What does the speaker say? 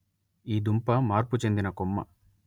ఈ దుంప మార్పు చెందిన కొమ్మ